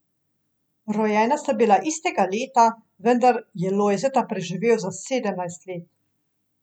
Rojena sta bila istega leta, vendar je Lojzeta preživel za sedemnajst let.